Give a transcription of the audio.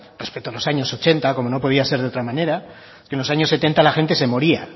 respecto a los años ochenta como no podía ser de otra manera es que en los años setenta la gente se moría